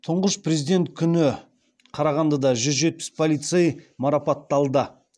тұңғыш президент күні қарағандыда жүз жетпіс полицей марапатталды